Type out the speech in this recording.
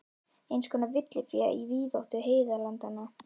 Eins konar villifé í víðáttu heiðalandanna.